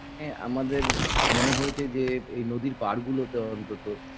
এ আমাদের এহ মনে হয়েছে এই নদীর পাড়গুলোতে অন্তত